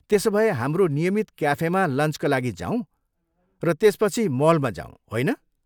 त्यसोभए हाम्रो नियमित क्याफेमा लन्चका लागि जाऊँ र त्यसपछि मलमा जाऊँ, होइन?